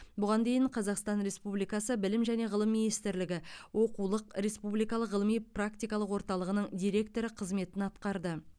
бұған дейін қазақстан республикасы білім және ғылым министрлігі оқулық республикалық ғылыми практикалық орталығының директоры қызметін атқарды